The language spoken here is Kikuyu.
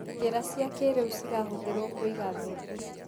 Njĩra cia kĩrĩu cirahũthĩruo kũiga mbembe.